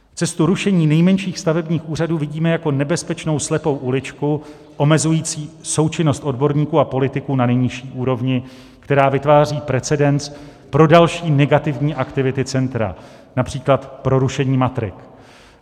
Cestu rušení nejmenších stavebních úřadů vidíme jako nebezpečnou slepou uličku omezující součinnost odborníků a politiků na nejnižší úrovni, která vytváří precedens pro další negativní aktivity centra, například pro rušení matrik.